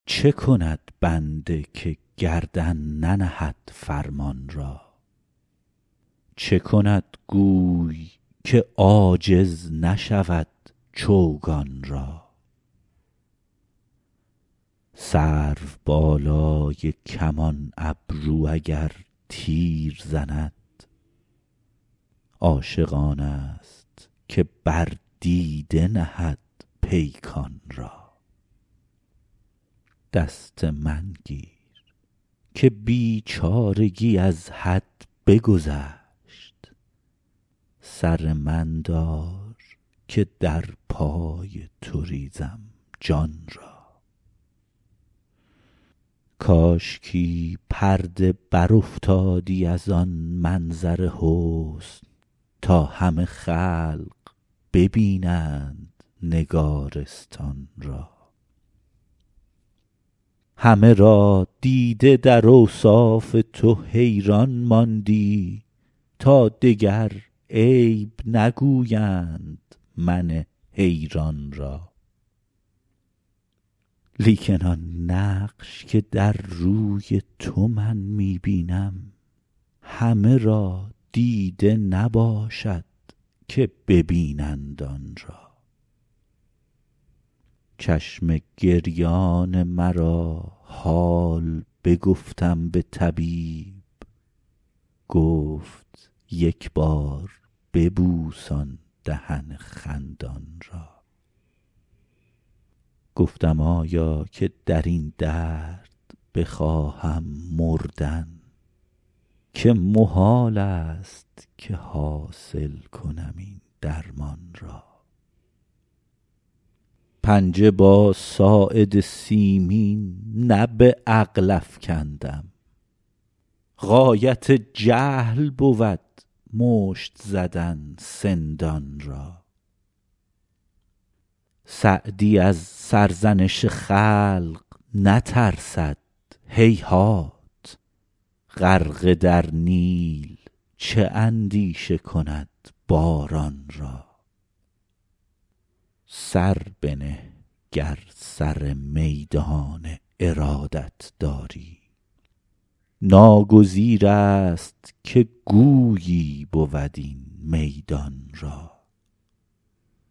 چه کند بنده که گردن ننهد فرمان را چه کند گوی که عاجز نشود چوگان را سروبالای کمان ابرو اگر تیر زند عاشق آنست که بر دیده نهد پیکان را دست من گیر که بیچارگی از حد بگذشت سر من دار که در پای تو ریزم جان را کاشکی پرده برافتادی از آن منظر حسن تا همه خلق ببینند نگارستان را همه را دیده در اوصاف تو حیران ماندی تا دگر عیب نگویند من حیران را لیکن آن نقش که در روی تو من می بینم همه را دیده نباشد که ببینند آن را چشم گریان مرا حال بگفتم به طبیب گفت یک بار ببوس آن دهن خندان را گفتم آیا که در این درد بخواهم مردن که محالست که حاصل کنم این درمان را پنجه با ساعد سیمین نه به عقل افکندم غایت جهل بود مشت زدن سندان را سعدی از سرزنش خلق نترسد هیهات غرقه در نیل چه اندیشه کند باران را سر بنه گر سر میدان ارادت داری ناگزیرست که گویی بود این میدان را